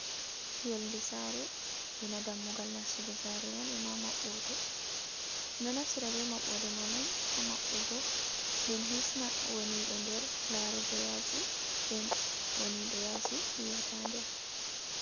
Yonde sare ena dammugal nastugo sare man, e ma maɓɓoɗe, no naftira be maɓbodɗe man on ha mabbugo nden hisna wonɗo nder larugo yasi nden wonido yasi yiyata nder.